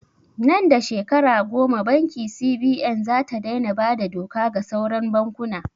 Nan da shekara goma banki CBN zata dai na bada doka ga sauran bankuna